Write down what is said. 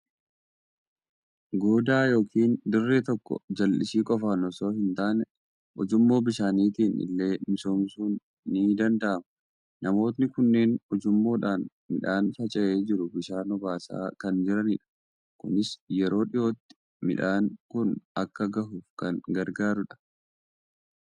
Goodaa yookiin dirree tokko jallisii qofaan osoo hin taane, ujummoo bishaaniitiin illee misoomsuun ni danda'ama. Namoonni kunneen ujummoodhaan midhaan faca'ee jiru bishaan obaasaa kan jiranidha. Kunis yeroo dhiyootti midhaan kun akka gahuuf kan gargaarudha.